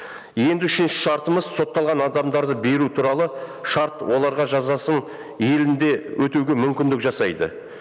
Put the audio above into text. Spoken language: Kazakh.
енді үшінші шартымыз сотталған адамдарды беру туралы шарт оларға жазасын елінде өтеуге мүмкіндік жасайды